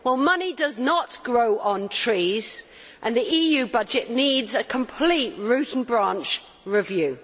Money does not grow on trees and the EU budget needs a complete root and branch review.